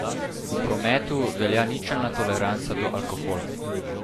V prometu velja ničelna toleranca do alkohola.